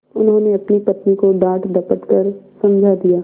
उन्होंने अपनी पत्नी को डाँटडपट कर समझा दिया